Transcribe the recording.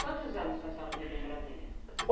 Quantos anos que a senhora viveu em Brasília?